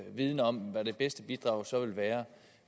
viden om hvad det bedste bidrag så vil være